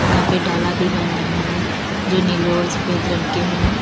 यहां पे डाला भी बन रहे हैं जो नीले और सफेद रंग के हैं।